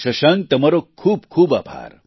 શશાંક તમારો ખૂબ ખૂબ આભાર